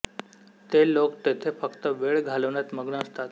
ते लोक तेथे फक्त वेळ घालवण्यात मग्न असतात